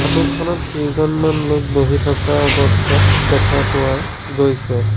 Photo খনত কেইজনমান লোক বহি থকা অৱস্থাত দেখা পোৱা গৈছে।